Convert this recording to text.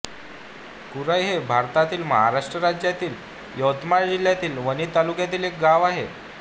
कुराई हे भारतातील महाराष्ट्र राज्यातील यवतमाळ जिल्ह्यातील वणी तालुक्यातील एक गाव आहे